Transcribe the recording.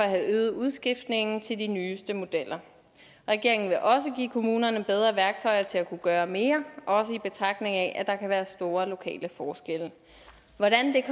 have øget udskiftningen til de nyeste modeller regeringen vil også give kommunerne bedre værktøjer til at kunne gøre mere også i betragtning af at der kan være store lokale forskelle hvordan det